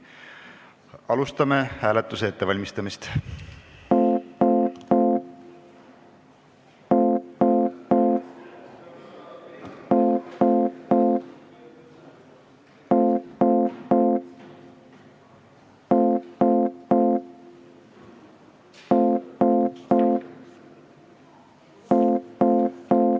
Alustame hääletuse ettevalmistamist.